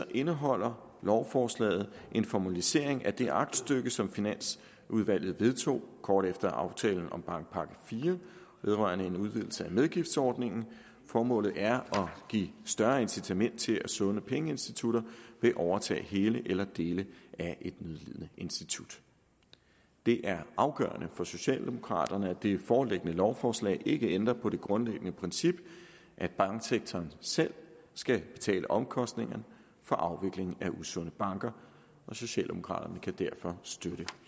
indeholder lovforslaget en formalisering af det aktstykke som finansudvalget vedtog kort efter aftalen om bankpakke iv vedrørende en udvidelse af medgiftsordningen formålet er at give større incitament til at sunde pengeinstitutter vil overtage hele eller dele af et nødlidende institut det er afgørende for socialdemokraterne at det foreliggende lovforslag ikke ændrer på det grundlæggende princip at banksektoren selv skal betale omkostningerne ved afvikling af usunde banker og socialdemokraterne kan derfor støtte